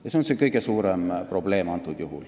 See on see kõige suurem probleem.